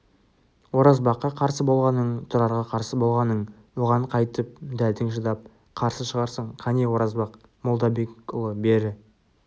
оразбаққа қарсы болғаның тұрарға қарсы болғаның оған қайтіп дәтің шыдап қарсы шығарсың қане оразбақ молдабекұлы бері